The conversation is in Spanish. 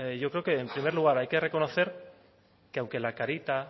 yo creo que en primer lugar hay que reconocer que aunque la carita